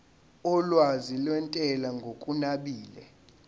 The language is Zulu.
olwazi lwentela ngokunabile